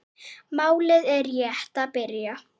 Málið er rétt að byrja.